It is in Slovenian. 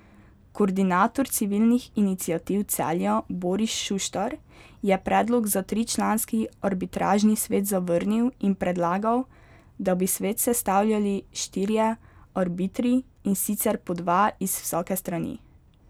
Koordinator Civilnih iniciativ Celja Boris Šuštar je predlog za tričlanski arbitražni svet zavrnil in predlagal, da bi svet sestavljali štirje arbitri, in sicer po dva iz vsake strani.